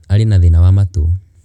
Arĩ na thĩna wa matũũ.